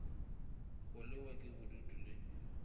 go lewa ke bodutu di